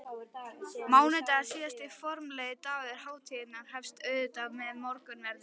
Mánudagurinn, síðasti formlegi dagur hátíðarinnar, hefst auðvitað með morgunverði.